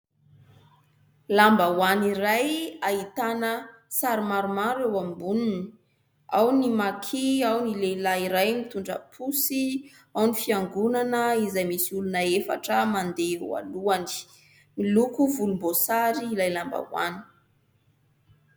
Lambahoany iray ahitana sary maromaro eo amboniny : ao ny maki, ao ny lehilahy iray mitondra posy, ao ny fiangonana izay misy olona efatra mandeha eo alohany. Miloko volomboasary ilay lambahoany.